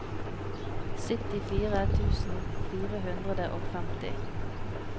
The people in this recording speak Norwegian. syttifire tusen fire hundre og femti